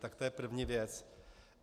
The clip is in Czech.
Tak to je první věc.